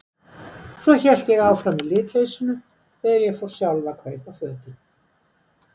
Svo hélt ég áfram í litleysinu þegar ég fór sjálf að kaupa fötin.